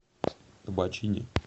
табачини